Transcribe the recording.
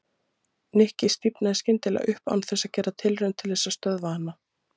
Nikki stífnaði skyndilega upp án þess að gera tilraun til þess að stöðva hana.